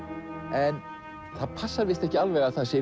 en það passar víst ekki alveg að það sé